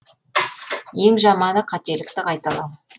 ең жаманы қателікті қайталау